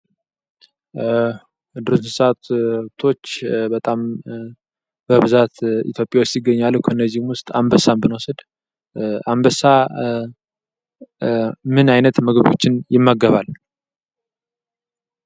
ከዱር እንስሳቶች በብዛት ኢትዮጵያ ውስጥ ይገኛሉ። ከነዚህም ውስጥ አንበሳን ብንወስድ አንበሳ ምን አይነት ምግቦችን ይመገባል?